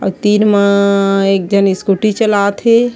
और तीर मा अअअ एक झन स्कूटी चलात हे।